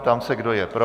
Ptám se, kdo je pro.